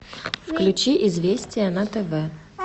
включи известия на тв